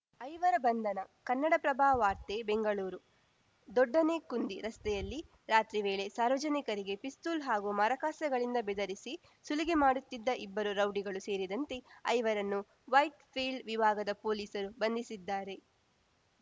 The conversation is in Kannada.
ಐವರ ಬಂಧನ ಕನ್ನಡಪ್ರಭ ವಾರ್ತೆ ಬೆಂಗಳೂರು ದೊಡ್ಡನೆಕ್ಕುಂದಿ ರಸ್ತೆಯಲ್ಲಿ ರಾತ್ರಿ ವೇಳೆ ಸಾರ್ವಜನಿಕರಿಗೆ ಪಿಸ್ತೂಲ್‌ ಹಾಗೂ ಮಾರಕಾಸ್ತ್ರಗಳಿಂದ ಬೆದರಿಸಿ ಸುಲಿಗೆ ಮಾಡುತ್ತಿದ್ದ ಇಬ್ಬರು ರೌಡಿಗಳು ಸೇರಿದಂತೆ ಐವರನ್ನು ವೈಟ್‌ಫೀಲ್ಡ್‌ ವಿಭಾಗದ ಪೊಲೀಸರು ಬಂಧಿಸಿದ್ದಾರೆ